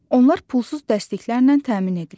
Onlar pulsuz dərsliklərlə təmin edilir.